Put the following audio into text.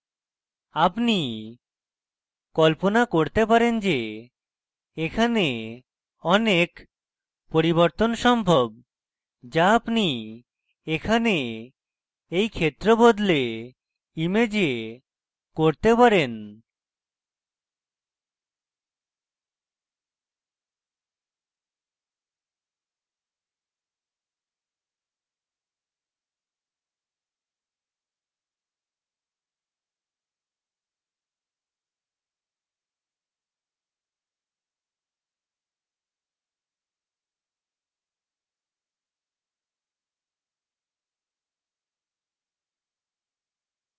আপনি কল্পনা করতে পারেন যে এখানে অনেক পরিবর্তন সম্ভব যা আপনি এখানে you ক্ষেত্র বদলে image করতে পারেন